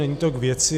Není to k věci.